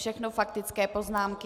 Všechno faktické poznámky.